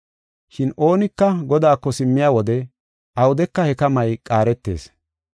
Shin oonika Godaako simmiya wode awudeka he kamay qaaretees.